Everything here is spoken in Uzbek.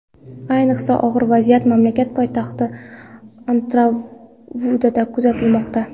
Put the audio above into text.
Ayniqsa og‘ir vaziyat mamlakat poytaxti Antananarivuda kuzatilmoqda.